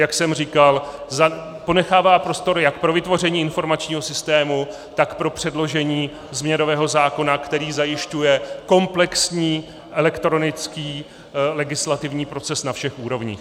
Jak jsem říkal, ponechává prostor jak pro vytvoření informačního systému, tak pro předložení změnového zákona, který zajišťuje komplexní elektronický legislativní proces na všech úrovních.